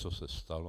Co se stalo?